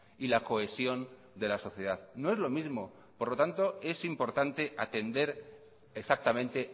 y la cohesión de la sociedad no es lo mismo por lo tanto es importante atender exactamente